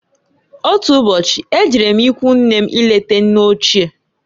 Otu ụbọchị, e jere m ikwunne m ileta nne ochie.